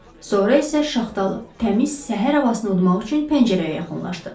Sonra isə şaxtalı, təmiz səhər havasını udmaq üçün pəncərəyə yaxınlaşdı.